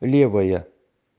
левая